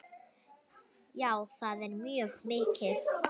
Já, það er mjög mikið.